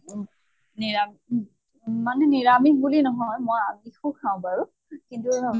অ নিৰামি মানে নিৰামিষ বুলি নহয়, মই আমিষু খাও বাৰু কিন্তু